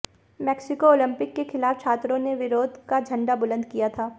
Mexico Olympic के खिलाफ छात्रों ने विरोध का झंडा बुलंद किया था